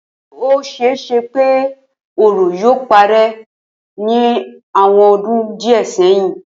Ó s̩e e s̩e pé òro yóò paré̩ ní àwo̩n o̩dún díè̩ sí ìsinyìí